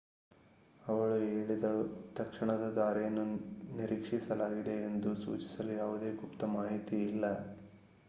ಅವಳು ಹೇಳಿದಳು ತಕ್ಷಣದ ದಾಳಿಯನ್ನು ನಿರೀಕ್ಷಿಸಲಾಗಿದೆ ಎಂದು ಸೂಚಿಸಲು ಯಾವುದೇ ಗುಪ್ತಮಾಹಿತಿ ಇಲ್ಲ